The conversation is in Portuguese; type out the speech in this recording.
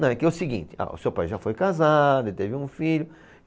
Não, é que é o seguinte, ah, o seu pai já foi casado e teve um filho.